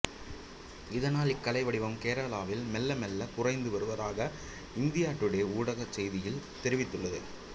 இதனால் இக்கலை வடிவம் கேரளாவில் மெல்ல மெல்லக் குறைந்து வருவதாக இந்தியா டூடே ஊடகச் செய்தியில் தெரிவித்துள்ளது